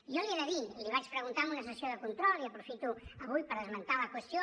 jo li he de dir li vaig preguntar en una sessió de control i aprofito avui per esmentar la qüestió